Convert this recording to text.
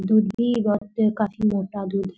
दूध भी बोहत काफी मोटा दूध हैं।